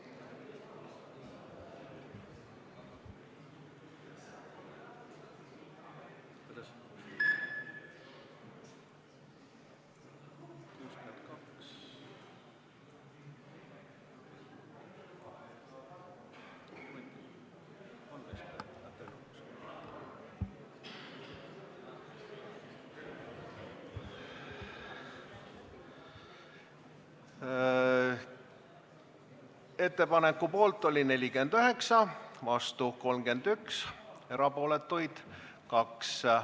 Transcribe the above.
Hääletustulemused Ettepaneku poolt oli 49 ja vastu 31 Riigikogu liiget, erapooletuid oli 2.